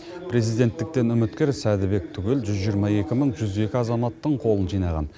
президенттіктен үміткер сәдібек түгел жүз жиырма екі мың жүз екі азаматтың қолын жинаған